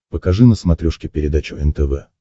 покажи на смотрешке передачу нтв